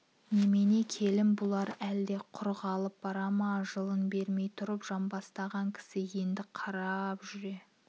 немене келін бұлар әлде құр қалып бара ма жылын бермей тұрып жамбастаған кісі енді қарап жүре